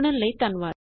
ਜੁੜਨ ਲਈ ਧੰਨਵਾਦ